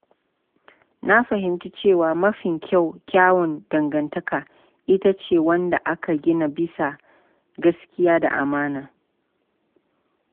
Na fahimci cewa mafi kyawun dangantaka ita ce wadda aka gina bisa gaskiya da amana.